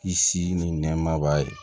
I si ni nɛɛma b'a ye